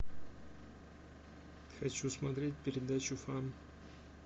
хочу смотреть передачу фан